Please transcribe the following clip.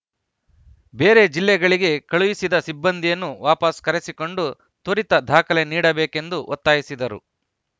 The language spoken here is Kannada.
ಬೇರೆ ಜಿಲ್ಲೆಗಳಿಗೆ ಕಳುಹಿಸಿದ ಸಿಬ್ಬಂದಿಯನ್ನು ವಾಪಸ್‌ ಕರೆಸಿಕೊಂಡು ತ್ವರಿತ ದಾಖಲೆ ನೀಡಬೇಕೆಂದು ಒತ್ತಾಯಿಸಿದರು